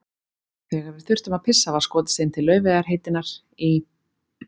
Þegar við þurftum að pissa var skotist inn til Laufeyjar heitinnar í